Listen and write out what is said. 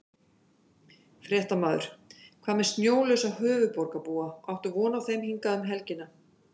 Fréttamaður: Hvað með snjólausa höfuðborgarbúa, áttu von á þeim hingað um helgina?